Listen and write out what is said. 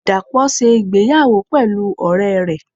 dapo se ìgbéyàwó pelú ore re.